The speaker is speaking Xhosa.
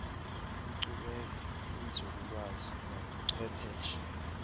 inkcubeko inzululwazi nobuchwepheshe